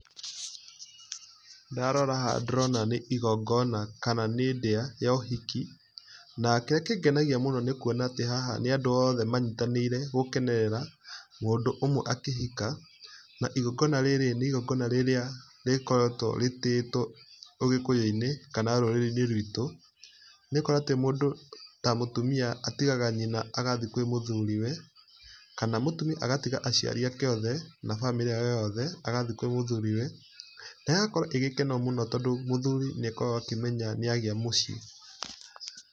Ndarora haha ndĩrona nĩ igongona kana nĩ ndia ya ũhiki, na kĩrĩa kĩngenagia mũno nĩkũona atĩ haha nĩ andũ othe manyitanĩire gũkenerera mũndũ ũmwe akĩhika, na igongona rĩrĩ nĩ igongona rĩrĩa rĩkoretwo rĩtĩĩtwo ũgĩkũyũ-inĩ kana rũrĩrĩ-inĩ rwitũ, nĩgũkorwo atĩ mũndũ ta mũtumia atigaga nyina agathiĩ kwĩ mũthuri we, kana mũtumia agatiga aciari ake othe na bamĩrĩ yake yothe agathiĩ kwĩ mũthuri we, na ĩgakorwo ĩgĩkeno mũno, tondũ mũthuri nĩakoragwo akĩmenya nĩagĩa mũciĩ.